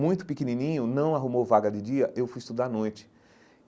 Muito pequenininho, não arrumou vaga de dia, eu fui estudar à noite.